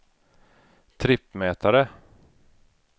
trippmätare